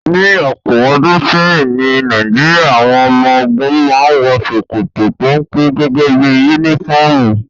Ní ọ̀pọ̀ ọdún sẹ́yìn ní Nàìjíríà, àwọn ọmọ ogun màa ǹ wọ ṣokoto pénpé gẹ́gẹ́ bí unifọmú